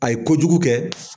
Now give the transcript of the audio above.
A ye ko jugu kɛ